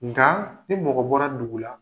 Nga ni mɔgɔ bɔra dugu la